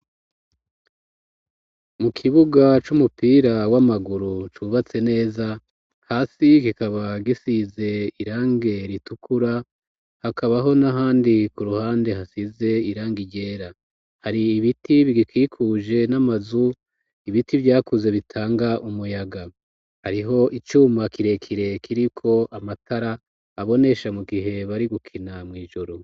Mu kibuga c'umupira w'amaguru cubatse neza, hasi kikaba gisize irangi ritukura, hakabaho n'ahandi ku ruhande hasize irangi ryera, hari ibiti bigikikuje, n'amazu, ibiti vyakuze bitanga umuyaga, hariho icuma kirekire kiriko amatara abonesha mu gihe bari gukina mw'ijoro.